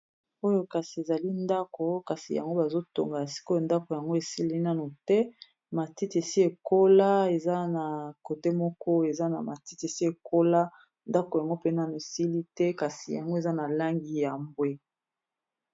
Oyo kasi ezali ndako kasi yango bazotonga sikoyo ndako yango esili nanu te matiti esi ekola eza na kote moko eza na matiti esi ekola ndako yango pe nanu esili te kasi yango eza na langi ya mbwe.